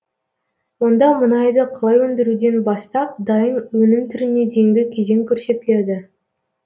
онда мұнайды қалай өндіруден бастап дайын өнім түріне дейінгі кезең көрсетіледі